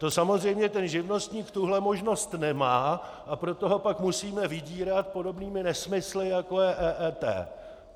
To samozřejmě ten živnostník tuhle možnost nemá, a proto ho pak musíme vydírat podobnými nesmysly, jako je EET.